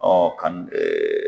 Ɔ kan ɛɛ